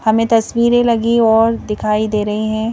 हमें तस्वीरें लगी और दिखाई दे रही हैं.